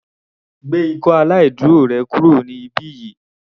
Gbé ikọ́ aláìdúró rẹ kúrò ní ibí yìí.